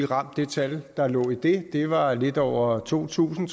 ramt det tal der lå i det det var lidt over to tusind